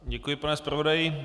Děkuji, pane zpravodaji.